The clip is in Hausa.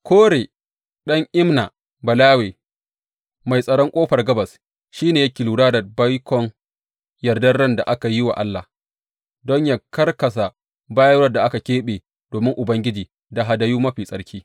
Kore ɗan Imna Balawe, mai tsaron Ƙofar Gabas, shi ne yake lura da baikon yardan ran da aka yi wa Allah, don ya karkasa bayarwar da aka keɓe domin Ubangiji da hadayu mafi tsarki.